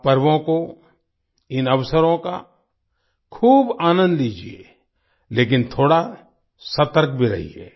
आप पर्वों को इन अवसरों का खूब आनंद लीजिये लेकिन थोड़ा सतर्क भी रहिए